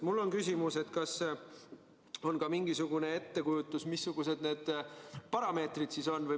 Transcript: Mul on küsimus, kas teil on ka mingisugune ettekujutus, missugused need parameetrid siis on.